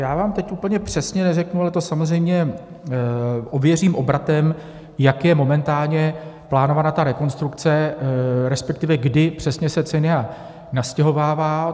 Já vám teď úplně přesně neřeknu, ale to samozřejmě ověřím obratem, jak je momentálně plánována ta rekonstrukce, respektive kdy přesně se CENIA nastěhovává.